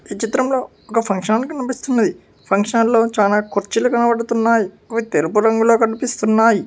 ఈ చిత్రంలో ఒక ఫంక్షన్ హాల్ కనిపిస్తుంది ఫంక్షన్ హాల్లో చాలా కుర్చీలు కనబడుతున్నాయి అవి తెలుపు రంగులో కనిపిస్తున్నాయి.